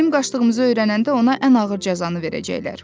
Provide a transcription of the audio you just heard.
Bizim qaçdığımızı öyrənəndə ona ən ağır cəzanı verəcəklər.